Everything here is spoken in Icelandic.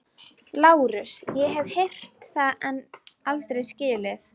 LÁRUS: Ég hef heyrt það en aldrei skilið.